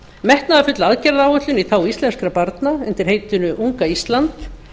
metnaðarfull aðgerðaráætlun í þágu íslenskra barna undir heitinu unga ísland